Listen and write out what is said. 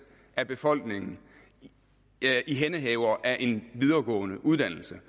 af befolkningen ihændehavere af på en videregående uddannelse